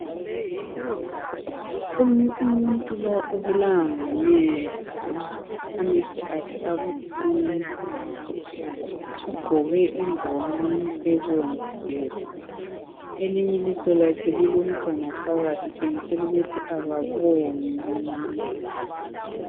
Umuntu lo ubulawa ngamehlo amehlo akhe abuhlungu ugqoke ingwane ebomvu elinye ilihlo lakhe lilomntwana phakathi kutshengisela ukuthi akaboni lumuntu.